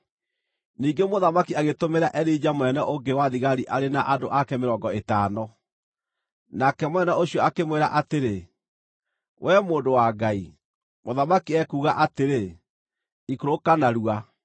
Ningĩ mũthamaki agĩtũmĩra Elija mũnene ũngĩ wa thigari arĩ na andũ ake mĩrongo ĩtano. Nake mũnene ũcio akĩmwĩra atĩrĩ, “Wee mũndũ wa Ngai, mũthamaki ekuuga atĩrĩ, ‘Ikũrũka narua!’ ”